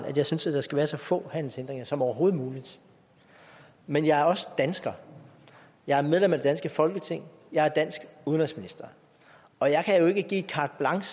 at jeg synes der skal være så få handelshindringer som overhovedet muligt men jeg er også dansker jeg er medlem af det danske folketing jeg er dansk udenrigsminister og jeg kan jo ikke give carte blanche